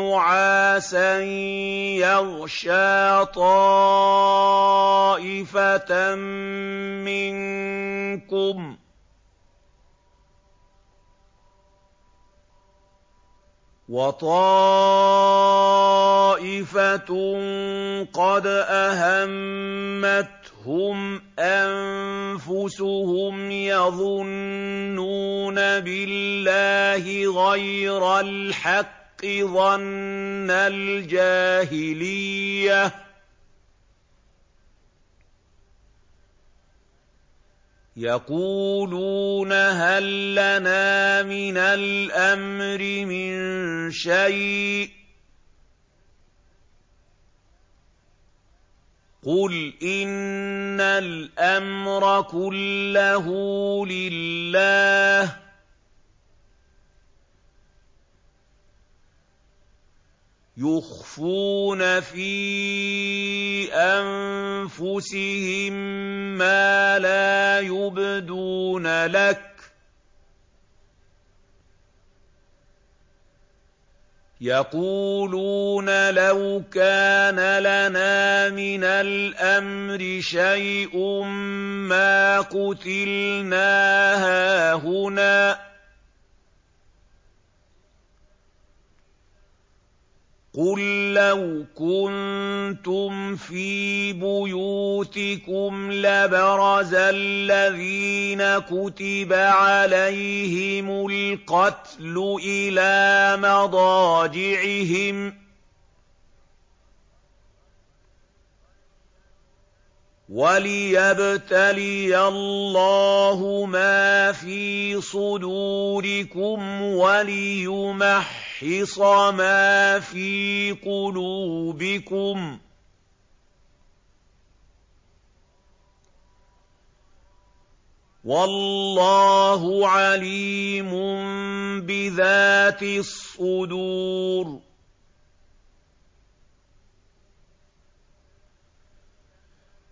نُّعَاسًا يَغْشَىٰ طَائِفَةً مِّنكُمْ ۖ وَطَائِفَةٌ قَدْ أَهَمَّتْهُمْ أَنفُسُهُمْ يَظُنُّونَ بِاللَّهِ غَيْرَ الْحَقِّ ظَنَّ الْجَاهِلِيَّةِ ۖ يَقُولُونَ هَل لَّنَا مِنَ الْأَمْرِ مِن شَيْءٍ ۗ قُلْ إِنَّ الْأَمْرَ كُلَّهُ لِلَّهِ ۗ يُخْفُونَ فِي أَنفُسِهِم مَّا لَا يُبْدُونَ لَكَ ۖ يَقُولُونَ لَوْ كَانَ لَنَا مِنَ الْأَمْرِ شَيْءٌ مَّا قُتِلْنَا هَاهُنَا ۗ قُل لَّوْ كُنتُمْ فِي بُيُوتِكُمْ لَبَرَزَ الَّذِينَ كُتِبَ عَلَيْهِمُ الْقَتْلُ إِلَىٰ مَضَاجِعِهِمْ ۖ وَلِيَبْتَلِيَ اللَّهُ مَا فِي صُدُورِكُمْ وَلِيُمَحِّصَ مَا فِي قُلُوبِكُمْ ۗ وَاللَّهُ عَلِيمٌ بِذَاتِ الصُّدُورِ